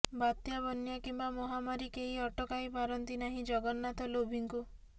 ବାତ୍ୟା ବନ୍ୟା କିମ୍ବା ମହାମାରୀ କେହି ଅଟକାଇ ପାରନ୍ତି ନାହିଁ ଜଗନ୍ନାଥଲୋଭୀଙ୍କୁ